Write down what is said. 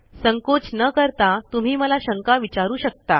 संकोच न करता तुम्ही मला शंका विचारू शकता